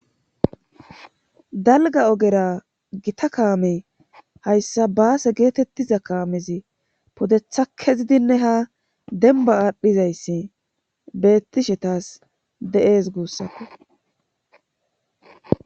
dalga ogera gita kaame hayssa baase geetettiza kaamezi podetha kezidinne ha denba aadhdhizayssi bettishetas de7ees guussappe